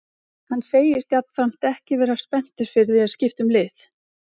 Hann segist jafnframt ekki vera spenntur fyrir því að skipta um lið.